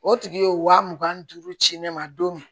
O tigi ye wa mugan ni duuru ci ne ma don min